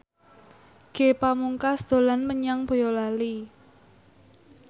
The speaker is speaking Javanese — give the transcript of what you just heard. Ge Pamungkas dolan menyang Boyolali